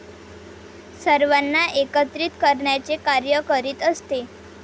सर्वांना एकत्रित करण्याचे कार्य करीत असते.